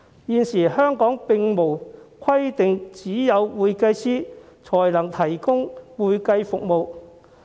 現時，香港並無規定只有會計師才能提供會計服務。